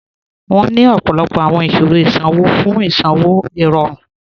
Wọn ni ọ̀pọ̀lọ̀pọ̀ awọn iṣirò isanwọ̀ fún isanwọ̀ irọ̀run.